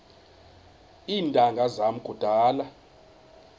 iintanga zam kudala